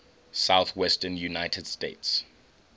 southwestern united states